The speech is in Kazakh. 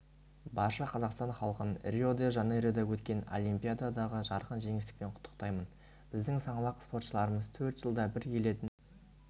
барша қазақстан халқын рио-де-жанейрода өткен олимпиададағы жарқын жеңіспен құттықтаймын біздің саңлақ спортшыларымыз төрт жылда бір келетін